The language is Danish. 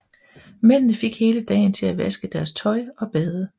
Mændene fik hele dagen til at vaske deres tøj og bade